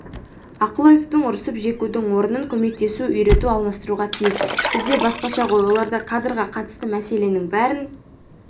ақыл айтудың ұрсып-жекудің орнын көмектесу үйрету алмастыруға тиіс бізде басқаша ғой оларда кадрға қатысты мәселенің бәрін